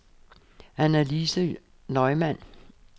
Annalise Neumann